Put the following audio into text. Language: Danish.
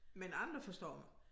Men andre forstår mig